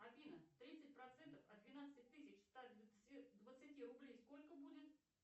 афина тридцать процентов от двенадцати тысяч ста двадцати рублей сколько будет